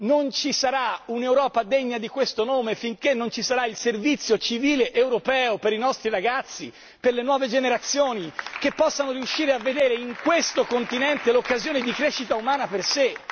Non ci sarà un'Europa degna di questo nome finché non ci sarà il Servizio civile europeo per i nostri ragazzi, per le nuove generazioni, che possano riuscire a vedere in questo continente l'occasione di crescita umana per sé.